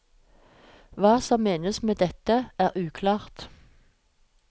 Hva som menes med dette, er uklart.